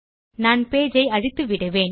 நான் பேஜ் ஐ அழித்து விடுவேன்